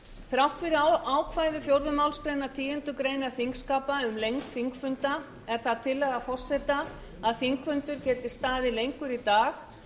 þrátt fyrir ákvæði fjórðu málsgreinar tíundu greinar þingskapa um lengd þingfunda er það tillaga forseta að þingfundur geti staðið lengur í dag